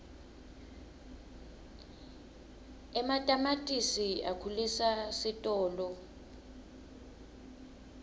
ematamatisi akhulisa sitolo